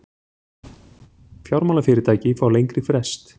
Fjármálafyrirtæki fá lengri frest